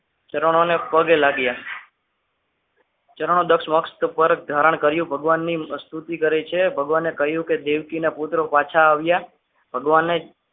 ચરણોની પગે લાગ્યા ચરણો દક્ષ મસ્તક પર ધારણ કર્યું ભગવાનની પ્રસ્તુતિ કરે છે કે ભગવાનને કહ્યું કે દેવકીના પુત્રો પાછા આવ્યા ભગવાને